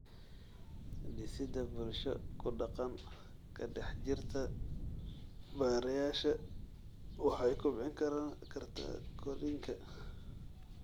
Dhisida bulsho ku-dhaqan ka dhex jirta barayaasha waxay kobcin kartaa korriinka.